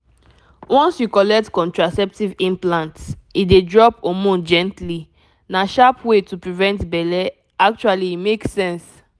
once you collect contraceptive implant e dey drop hormone gently — na sharp way to prevent belle actually e make sense.